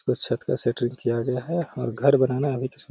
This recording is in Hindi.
उस छत का शटरिंग किय गया है और घर बनाना अभी --